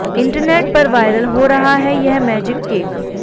internet पर viral हो रहा है यह मैजिक केक